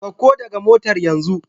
Sauka daga motar yanzu!